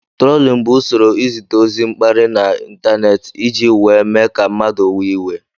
Trólin bụ usoro izite ọzi mkpari n' ịntanetị iji wee mee ka mmadụ wee iwe.